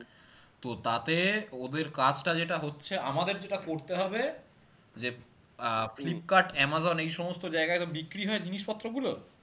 তো তাতে ওদের কাজটা যেটা হচ্ছে আমাদের যেটা করতে হবে যে আহ ফ্লিপকার্ট, আমাজন এই সমস্ত জায়গায় তো বিক্রি হয় জিনিসপত্র গুলো